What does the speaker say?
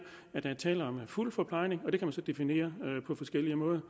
at der er tale om fuld forplejning og det kan man så definere på forskellig måde